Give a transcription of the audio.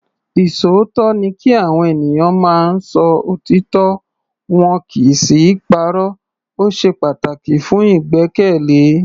Ìṣòótọ́ ni kí Àwọn ènìyàn máa ń sọ òtítọ́ wọn kì í sì í parọ́. O ṣe pataki fun igbẹkẹle.